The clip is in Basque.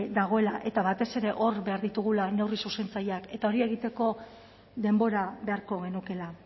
dagoela eta batez ere hor behar ditugula neurri zuzentzaileak eta hori egiteko denbora beharko genukeela